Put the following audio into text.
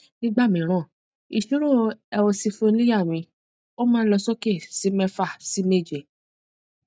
nígbà mìíràn ìṣirò eosinophilia mi máa ń lọ sókè sí mẹfà sí méje